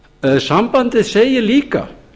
þessu sambandið segir líka